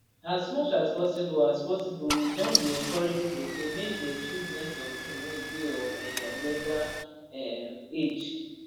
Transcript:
as much as possible as possible we don dey encourage pipo say make dey choose next of kin wey dey of um legal um age